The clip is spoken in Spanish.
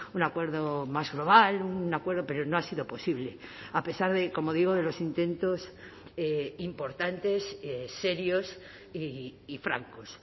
un acuerdo más global un acuerdo pero no ha sido posible a pesar de como digo de los intentos importantes serios y francos